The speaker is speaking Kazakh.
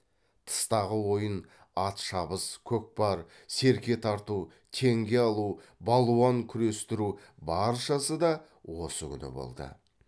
тыстағы ойын ат шабыс көкпар серке тарту теңге алу балуан күрестіру баршасы да осы күні болды